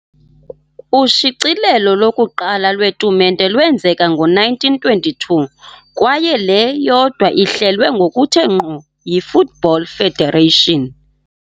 Ushicilelo lokuqala lwetumente lwenzeka ngo -1922, kwaye le yodwa ihlelwe ngokuthe ngqo yi-Football Federation.